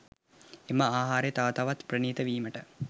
එම ආහාරය තව තවත් ප්‍රණීත වීමට